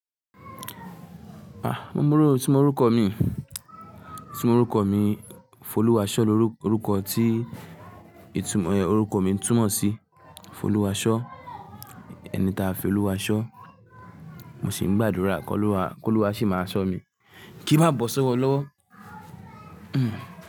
Ah! Mo mọ̀ ọ́, itu mo rúkọ̀ mí, tí mo rúkọ̀ mí Folúwásọ́ ló rúkọ̀ tí ìtumọ̀ ẹ rúkọ̀ mi ń túmọ̀ sí Folúwásọ́, ẹni táa fi Olúwa ṣọ́, mo sì ń gbàdúrà ko luwa kí Olúwa ṣì máa ṣọ́ mí, kí máa bọ́ sọ́wọ́ lọ́wọ́. Hmm.